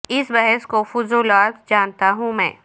اس بحث کو فضول و عبث جانتا ہوں میں